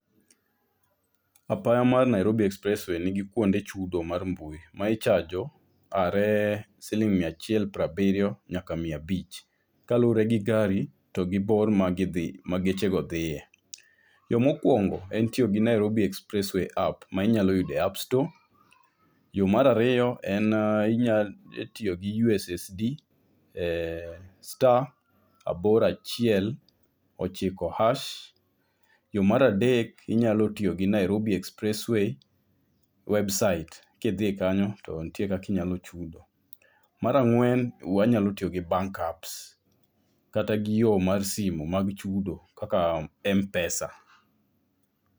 Apaya mar Nairobi expressway nigi kuonde chudo mag mbui ma ichajo are siling mia achiel prabiyo nyaka mia abich kaluore gi gari togi bor magidhi, ma geche go dhiye. Yoo mokuongo en tiyo gi Nairobi expressway app minya yudo e appstore, yoo ar ariyo en inya tiyo gi USSD e star abor achiel, ochiko hash. Yoo mar adek inyalo tiyo gi Nairobi expressway website, ka idhi kanyo to nitie kaka iyalo chudo. Mar ang'wen wanyalo tiyo gi bank apps kata gi yo mar simu mag chudo kaka Mpesa